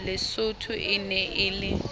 lesotho e ne e le